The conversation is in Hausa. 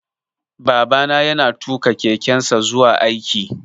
Babana ya na tuƙa kekensa zuwa aiki